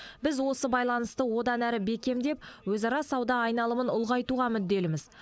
біз осы байланысты одан әрі бекемдеп өзара сауда айналымын ұлғайтуға мүдделіміз